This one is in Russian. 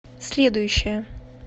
следующая